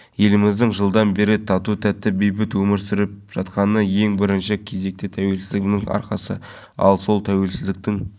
жеңіс жүрсімбаев жобаларды бақылау инспекторы сергей давыдов кәсіпкер болат көкенайұлы тілші авторлары болат көкенайұлы медет өмірханов